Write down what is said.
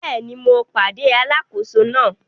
Bẹ́ẹ̀ni, mo pàdé alákòóso náà.